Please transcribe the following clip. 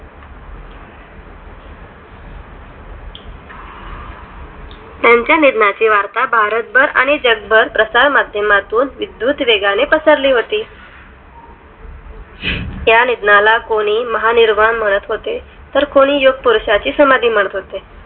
ह्यांच्या निधनाची वार्ता भारतभर आणि जगभर प्रसारमाध्यमातून विद्युत वेगाने पसरली होती ह्या निधनाला कोणी महानिर्वण तर कोणी योगपुरषाची समाधी म्हणत होते